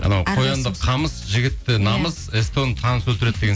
анау қоянды қамыс жігітті намыс сто ны таныс өлтіреді деген